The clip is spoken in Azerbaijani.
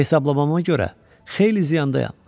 Hesablamama görə xeyli ziyandayam.